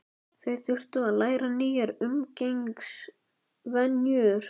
Þau þurftu að læra nýjar umgengnisvenjur.